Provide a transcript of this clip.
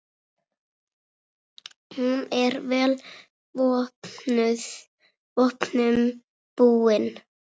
Hún er vel vopnum búin.